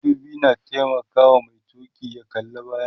madubi na taimakawa Mai tuki ya kalla bayan sa